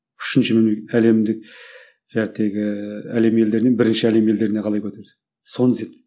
үшінші әлемдік әлем елдерінен бірінші әлем елдеріне қалай көтерді соны